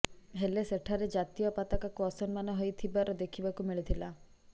ହେଲେ ସେଠାରେ ଜାତୀୟ ପତାକାକୁ ଅସମ୍ମାନ ହୋଇଥିବାର ଦେଖିବାକୁ ମିଳିଥିଲା